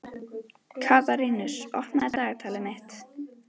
Katarínus, opnaðu dagatalið mitt.